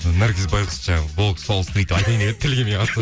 наргиз байғұс жаңа айтайын деп еді тілі келмей қалды